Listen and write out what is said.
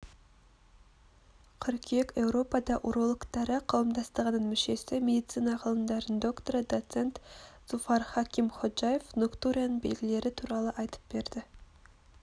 қыркүйек еуропа урологтары қауымдастығының мүшесі медицина ғылымдарының докторы доцент зуфар хакимходжаев ноктурияның белгілері туралы айтып берді